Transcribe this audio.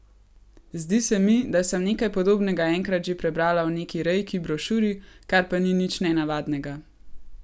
Zdi se mi, da sem nekaj podobnega enkrat že prebrala v neki reiki brošuri, kar pa ni nič nenavadnega.